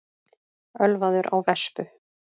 Ölvaður á vespu